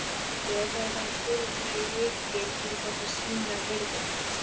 Ég veit að ég þarf að spila fleiri leiki til þess að sýna virði mitt